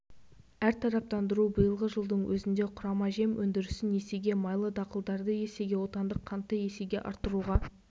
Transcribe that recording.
әртараптандыру биылғы жылдың өзінде құрама жем өндірісін есеге майлы дақылдарды есеге отандық қантты есеге арттыруға